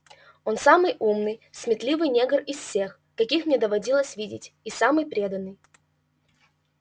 он самый умный сметливый негр из всех каких мне доводилось видеть и самый преданный